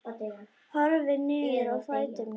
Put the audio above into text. Horfi niður á fætur mína.